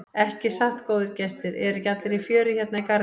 Ekki satt góðir gestir, eru ekki allir í fjöri hérna í garðinum?